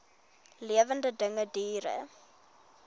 lewende dinge diere